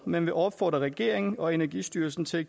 men vil opfordre regeringen og energistyrelsen til